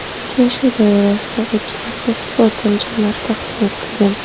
Uchrashuv doirasida o‘quvchilarga sport anjomlari taqdim etilgan.